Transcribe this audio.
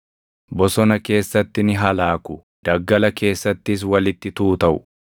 Bosona keessatti ni halaaku; daggala keessattis walitti tuutaʼu.